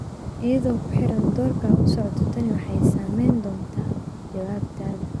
iyadoo ku xiran doorka aad u socoto tani waxay saameyn doontaa jawaabtaada